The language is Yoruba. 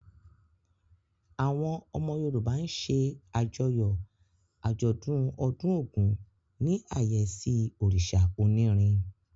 Àwọn ọmọ Yorùbá ṣe àjọyọ̀ àjọ̀dún ọdún Ògún ní àyẹ́sí òrìṣà onírin.